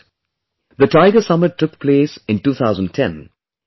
The Tiger summit took place in 2010 at St